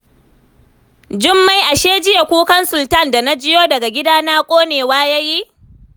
Jummai ashe jiya kukan Sultan da na jiyo daga gidana, ƙonewa ya yi